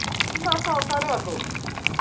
E മാസം അവസാനവാന്ന് തോന്ന്